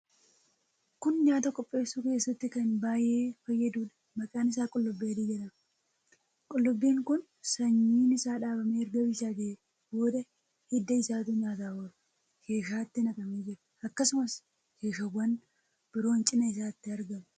Kun nyaata qopheessuu keessatti kan baay'ee fayyaduudha. Maqaan isaa qullubbii adii jedhama. Qullubbiin kun sanyiin isaa dhaabamee erga bilchaatee booda hidda isaatu nyaataaf oola. Keeshaatti naqamee jira. Akkasumas, keeshaawwan biroon cina isaatti argamu.